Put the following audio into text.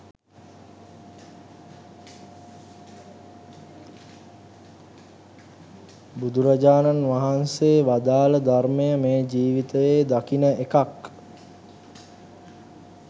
බුදුරජාණන් වහන්සේ වදාළ ධර්මය මේ ජීවිතයේ දකින එකක්.